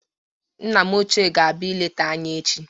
Nna m ochie ga-abịa ileta anyị echi.